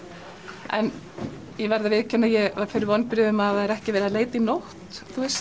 en ég verð að viðurkenna að ég varð fyrir vonbrigðum að það sé ekki verið að leita í nótt þú veist